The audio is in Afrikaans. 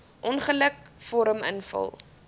ongeluk vorm invul